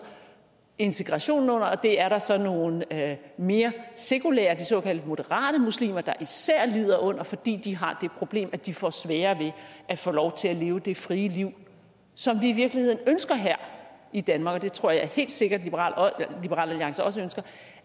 integrationen under og det er der så nogle af de mere sekulære de såkaldte moderate muslimer der især lider under fordi de har det problem at de får sværere ved at få lov til at leve det frie liv som vi i virkeligheden ønsker her i danmark der tror jeg helt sikkert at liberal alliance også ønsker